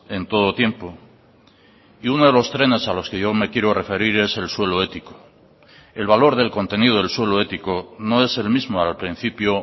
en todo tiempo y uno de los trenes a los que yo me quiero referir es el suelo ético el valor del contenido del suelo ético no es el mismo al principio